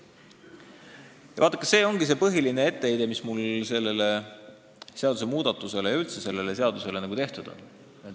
Ja vaadake, see ongi põhiline etteheide, mis mul sellele seadusmuudatusele ja üldse sellele seadusele on.